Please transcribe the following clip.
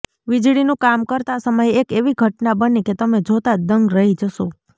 વીજળીનું કામ કરતા સમયે એક એવી ઘટના બની કે તમે જોતા જ દંગ રહી જશો